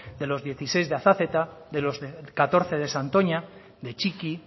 de los dieciséis de azazeta de los catorce de santoña de txiki